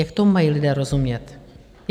Jak tomu mají lidé rozumět?